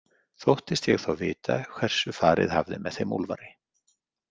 Þóttist ég þá vita hversu farið hafði með þeim Úlfari.